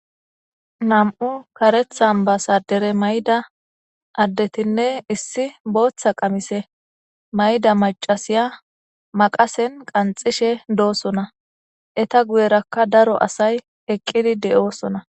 Nam7u karethan basa dere mayda addetinne issi booththa qamise mayda macasiya maqasen qanxishe doosona eta guyerakka daro asay eqqidi de7oosona